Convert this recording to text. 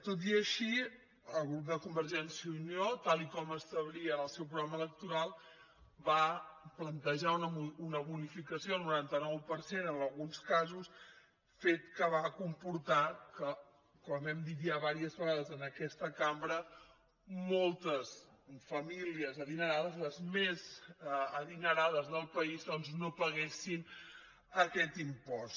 tot i així el grup de convergència i unió tal com establia en el seu programa electoral va plantejar una bonificació del noranta nou per cent en alguns casos fet que va comportar que com hem dit ja diverses vegades en aquesta cambra moltes famílies adinerades les més adinerades del país doncs no paguessin aquest impost